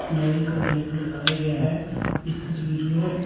लोहे का गेट लगाया गया है इस तस्वीर में--